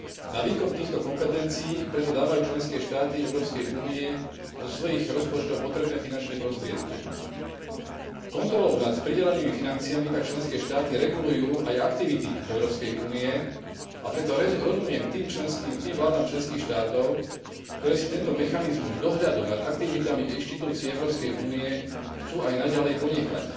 Na výkon týchto kompetencií preto dávajú členské štáty Európskej únie zo svojich rozpočtov potrebné finančné prostriedky. Kontrolou nad pridelenými financiami tak členské štáty regulujú aj aktivity Európskej únie, a preto rozumiem tým vládam členských štátov, ktoré si tento mechanizmus dohľadu nad aktivitami inštitúcií Európskej únie chcú aj naďalej ponechať.